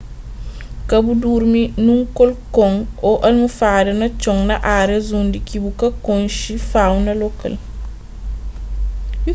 ka bu durmi nun kolkon ô almofada na txon na árias undi ki bu ka konxe fauna lokal